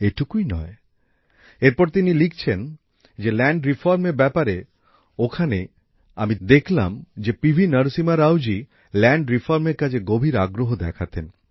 এটুকুই নয় এরপর তিনি লিখছেন যে ভূমি সংস্কারের ব্যাপারে ওখানে আমি দেখলাম যে শ্রী পি ভি নরসিম্হা রাওজি ভূমি সংস্কারের কাজে গভীর আগ্রহ দেখাতেন